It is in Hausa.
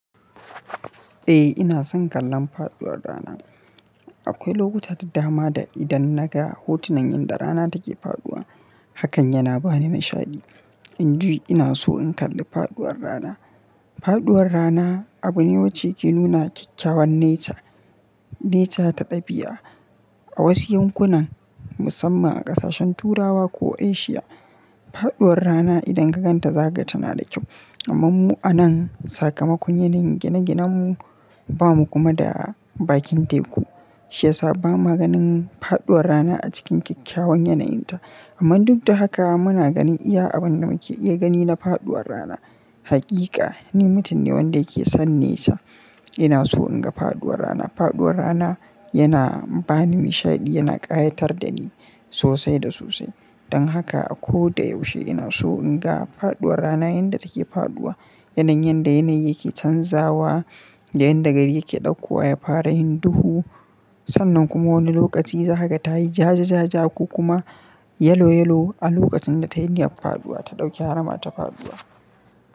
Eh ina son kallon faɗuwar rana. Akwai lokuta da dama da idan naga hotunan yanda rana take faɗuwa, hakan yana bani nishaɗi. In ji ina so in kalli faɗuwar rana. Faɗuwar rana abu ne wacce yake nuna kyakkyawan nature, nature ta dabi'a. A wasu yankunan musamman a ƙasashen Turawa ko Asia, faɗuwar rana idan ka gan ta zaga ta na da kyau. Amman mu a nan sakamakon yanayin gine-ginen mu, ba mu kuma da bakin teku. Shi ya sa ba mu ganin faɗuwar rana a cikin kyakkyawan yanayinta. Amma duk da haka muna ganin iya abin da muke iya gani na faɗuwar rana. Haƙiƙa, ni mutum ne wanda yake son nature. Ina so in ga faɗuwar rana. Faɗuwar rana yana bani nishaɗi, yana ƙayatar da ni sosai da sosai. Don haka a ko da yaushe ina so in ga faɗuwar rana yanda take faɗuwa. Yanayin yanda yanayi yake canzawa, da yanda gari yake ɗaukuwa ya fara yin duhu. Sannan kuma wani lokaci zagata yayi ja-jaja ko kuma yellow yellow a lokacin da tayi niyan faɗuwa ta ɗauki harama ta faɗuwa.